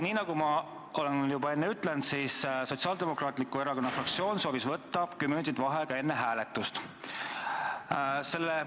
Nii nagu ma olen juba öelnud, Sotsiaaldemokraatliku Erakonna fraktsioon soovis võtta kümme minutit vaheaega enne hääletust.